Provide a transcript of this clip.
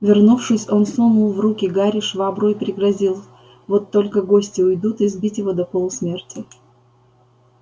вернувшись он сунул в руки гарри швабру и пригрозил вот только гости уйдут избить его до полусмерти